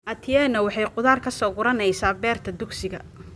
Atieno waxay khudaar ka soo guranaysaa beerta dugsiga